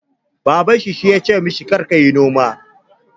Baban shi ya ce ma shi 'Kar ka yi noma'!